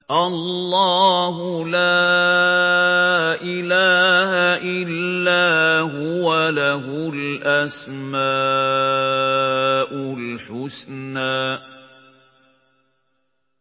اللَّهُ لَا إِلَٰهَ إِلَّا هُوَ ۖ لَهُ الْأَسْمَاءُ الْحُسْنَىٰ